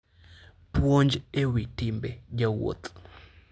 Puonj e Wi Timbe Jowuoth